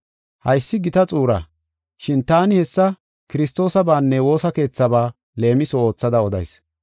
Haysi gita xuura, shin taani hessa Kiristoosabaanne woosa keethabaa leemiso oothada odayis.